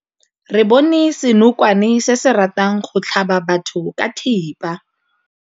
Re bone senokwane se se ratang go tlhaba batho ka thipa.